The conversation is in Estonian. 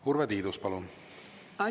Urve Tiidus, palun!